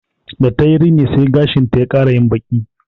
Da ta yi rini sai gashinta ya ƙara yin baƙi